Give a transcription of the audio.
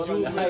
Hey!